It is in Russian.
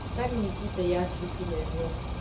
там никита я ослепила его